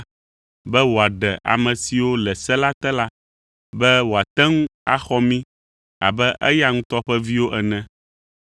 be wòaɖe ame siwo le se la te la, be wòate ŋu axɔ mí abe eya ŋutɔ ƒe viwo ene.